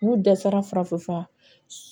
N'u dɛsɛra farafin fura